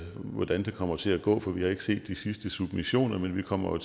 hvordan det kommer til at gå for vi har ikke set de sidste submissioner men vi kommer